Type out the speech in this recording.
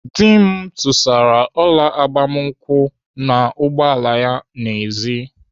Dị m tụsara ọla agbamakwụkwọ n'ụgbọala ya nọ n'èzí.